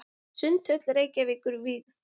Sundhöll Reykjavíkur vígð.